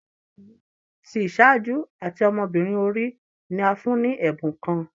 Ọmọkunrin olori ti iṣaaju ati ọmọbirin ori ni a fun ni ẹbun kan